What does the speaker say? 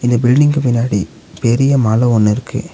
இந்த பில்டிங்க்கு பின்னாடி பெரிய மல ஒன்னு இருக்கு.